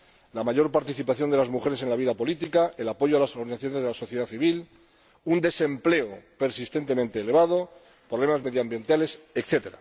la mayor participación de las mujeres en la vida política, el apoyo a las organizaciones de la sociedad civil, un desempleo persistentemente elevado, problemas medioambientales, etc.